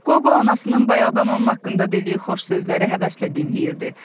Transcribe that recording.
Qobo anasının bayaqdan onun haqqında dediyi xoş sözləri həvəslə dinləyirdi.